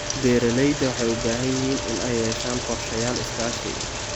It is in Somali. Beeralayda waxay u baahan yihiin inay yeeshaan qorshayaal iskaashi.